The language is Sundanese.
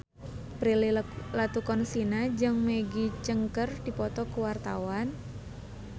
Prilly Latuconsina jeung Maggie Cheung keur dipoto ku wartawan